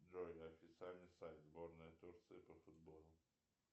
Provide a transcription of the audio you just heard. джой официальный сайт сборная турции по футболу